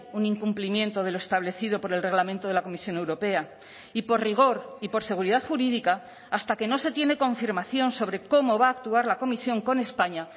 un incumplimiento de lo establecido por el reglamento de la comisión europea y por rigor y por seguridad jurídica hasta que no se tiene confirmación sobre cómo va a actuar la comisión con españa